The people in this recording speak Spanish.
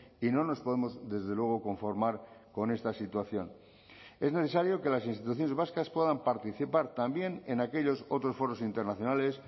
y no nos podemos desde luego conformar con esta situación es necesario que las instituciones vascas puedan participar también en aquellos otros foros internacionales